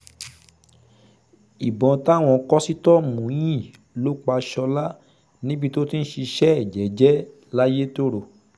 ìbọn táwọn kòsítọ́ọ̀mù yín ló pa ṣọ́lá níbi tó ti ń ṣiṣẹ́ ẹ̀ jẹ́ẹ́jẹ́ layétòrò